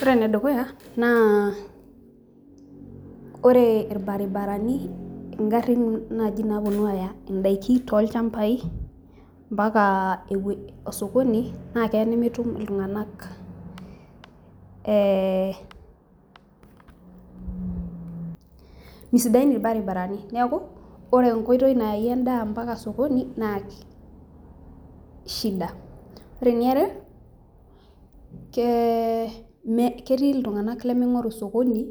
Ore ene dukuya na ore irbaribarani ngarin nai naponu aya ndakin tolchambai mpaka osokoni na keya nemetum iltunganak, neaku mesidain irbaribarani neaku ore enkoitoi naimieki endaa mpaka osokoni na shida ore eniare ketii ltunganak lemingoru osokoni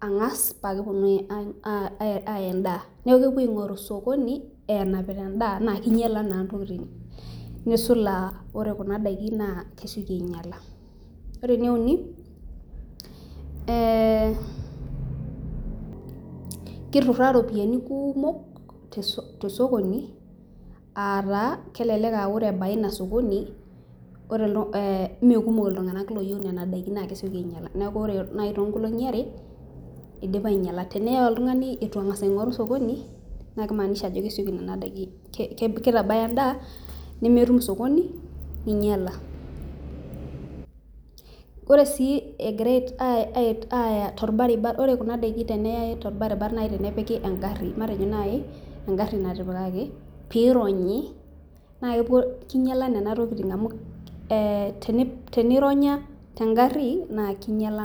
angas pakeponu aya endaa neaku kepuo aingoru osokoni enapita endaa na kinyala endaa na kesuj aa ore kuna dakin na kesieki ainyala ore eneuni na kituraaa ropiyani kumok tosokoni ataa kelek ore ebaya ilo sokoni mekumok ltunganak loyieu nona dakin na kesieki ainyala tonkolongi are teneya oltungani ituengasa aingoru osokoni na kimaanisha ajo kitabaya endaa nemetum osokoni ninyala ore si egira ore kuna dakini tenepiki engari matejo nai engari natipikaki pironyi na kinyala nona tokitin amu tenironya tengari na kinyala.